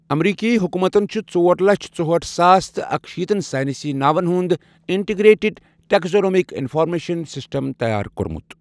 امریکی حکومتَن چھ ژور لچھ ژُہٲٹھ ساس تہٕ اکشیٖتن ساینسی ناون ہُند انٹگریٹِڈ ٹیکزانومک انفارمیشن سسٹم تیار کوٚرمُت۔